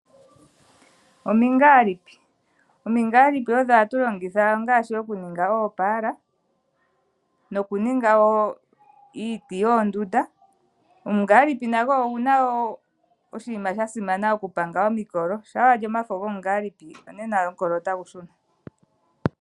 Omingaalipi, omingaalipi odho hatu longitha okuninga ngaashi oopaala nokuninga iiti wo yoondunda. Omungaalipi nago oguna wo oshinima sha simana okupanga omikolo shampa wa li omafo gomungaalipi onena owala omukolo go otagu shuna.